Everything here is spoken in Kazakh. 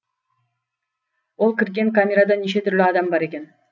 ол кірген камерада неше түрлі адам бар екен